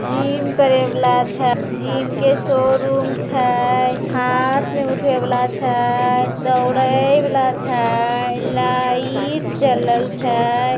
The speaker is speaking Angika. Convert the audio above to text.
जिम करे वला छय जिम के शोरूम छय हाथ मे उठवे वला छय दौड़े वला छय लाइट जलल छय |